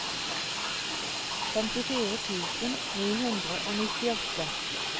femtifire tusen ni hundre og nittiåtte